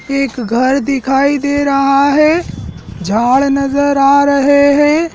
एक घर दिखाई दे रहा है झाड़ नजर आ रहे हैं।